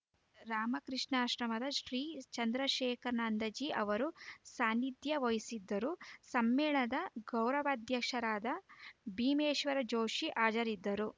ರಾಮಕೃಷ್ಣಾಶ್ರಮದ ಶ್ರೀ ಚಂದ್ರಶೇಖರಾನಂದಜಿ ಅವರು ಸಾನ್ನಿಥ್ಯಾ ವಹಿಸಿದ್ದರು ಸಮ್ಮೇಳನದ ಗೌರವಾಧ್ಯಕ್ಷರಾದ ಭೀಮೇಶ್ವರ ಜೋಷಿ ಹಾಜರಿದ್ದರು